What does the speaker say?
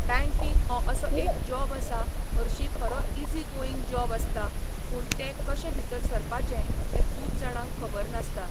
Banking हो असो एक जॉब आसा हरशीं खरो इजी गोयींग जॉब आसता पूण ते कशें भितर सरपाचे तें खूब जाणांक खबर नासता.